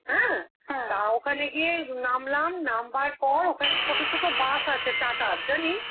হ্যাঁ? তা ওখানে গিয়ে উম নামলাম, নাম্বার পর ওখানে ছোট ছোট bus আছে, TATA র, জানিস?